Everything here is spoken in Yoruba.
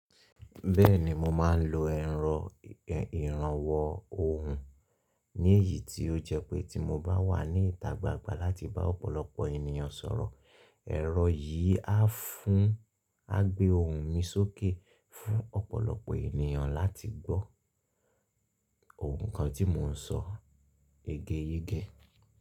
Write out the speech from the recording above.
Bẹ́ẹ̀ni mo máa ń lo ẹ̀rọ ìrànwọ́ ohùn, ní èyí tí ó jẹ́ pé tí mo bá wà ní ìta gbangba láti bá ọ̀pọ̀lọpọ̀ ènìyàn sọ̀rọ̀, ẹ̀rọ yìí á fún, á gbé ohùn mi sókè fún ọ̀pọ̀lọpọ̀ ènìyàn láti gbọ́ ohùn kan tí mò ń sọ yegeyege.